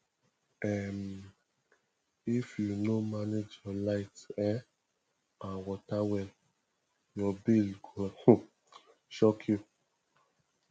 um if you no manage your light um and water well your bill go um shock you